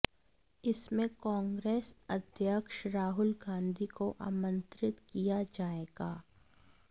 इसमें कांग्रेस अध्यक्ष राहुल गांधी को आमंत्रित किया जाएगा